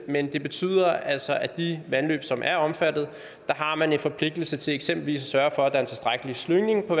men det betyder altså at de vandløb som er omfattet har man en forpligtelse til eksempelvis at sørge for at der er en tilstrækkelig slyngning på